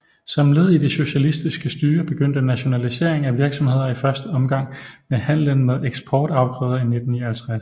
Som led i det socialistiske styre begyndte nationaliseringen af virksomheder i første omgang med handlen med eksportafgrøder i 1959